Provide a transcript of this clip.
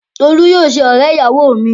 Tolú yóò ṣe ọ̀rẹ́-ìyàwọ mi.